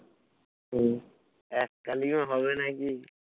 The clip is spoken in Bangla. হম এক কালীন ও হবে নাকি